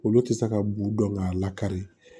Olu tɛ se ka b'u dɔn k'a lakari